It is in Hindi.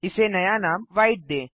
इसे नया नाम व्हाइट दें